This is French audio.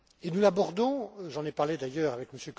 Nous l'abordons j'en ai parlé d'ailleurs avec